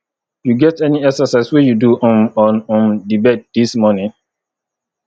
you get any exercise wey you do um on um di bed dis morning